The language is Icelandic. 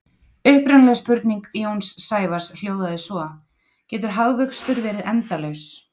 Upprunaleg spurning Jóns Sævars hljóðaði svo: Getur hagvöxtur verið endalaus?